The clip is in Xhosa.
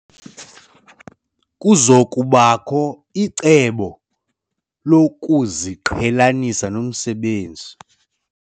Kuza kubakho ucweyo lokuziqhelanisa nomsebenzi.